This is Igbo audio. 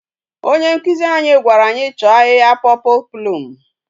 Onye nkuzi anyi gwara anyi cho ahihia purple plume